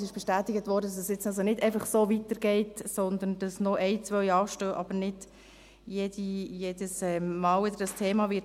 Es wurde uns bestätigt, dass es jetzt nicht einfach so weitergeht, sondern dass noch eine oder zwei anstehen, dass aber dieses Thema nicht jedes Mal wieder kommen wird.